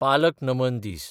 पालक नमन दीस